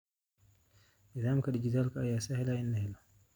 Nidaamka dhijitaalka ah ayaa sahlaya in la helo.